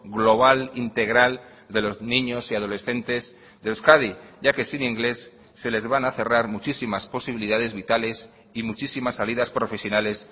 global integral de los niños y adolescentes de euskadi ya que sin inglés se les van a cerrar muchísimas posibilidades vitales y muchísimas salidas profesionales